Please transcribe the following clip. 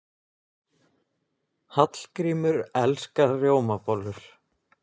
Hallgrímur elskar rjómabollur.